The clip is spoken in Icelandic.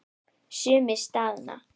Sumir staðna.